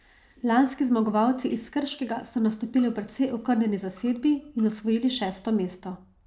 Lanski zmagovalci iz Krškega so nastopili v precej okrnjeni zasedbi in osvojili šesto mesto.